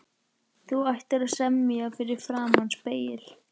Þú ættir að semja fyrir framan spegil.